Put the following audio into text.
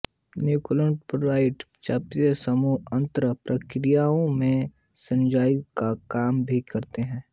nucleotide चयापचयी समूह अंतरण प्रतिक्रियाओं में सहएंजाइमों का काम भी करते हैं